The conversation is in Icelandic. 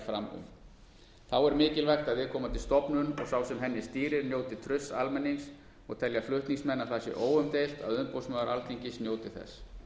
fram um þá er mikilvægt að viðkomandi stofnun og sá sem henni stýrir njóti trausts almennings og telja flutningsmenn að það sé óumdeilt að umboðsmaður alþingis njóti þess